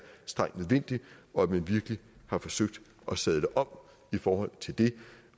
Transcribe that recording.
strengt nødvendigt og at man virkelig har forsøgt at sadle om i forhold til det